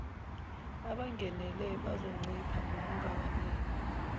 abangenele bazoncipha ngokungabaniki